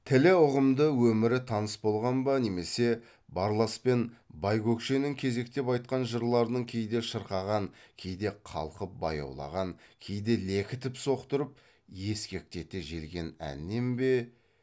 тілі ұғымды өмірі таныс болған ба немесе барлас пен байкөкшенің кезектеп айтқан жырларының кейде шырқаған кейде қалқып баяулаған кейде лекітіп соқтырып ескектете желген әнінен бе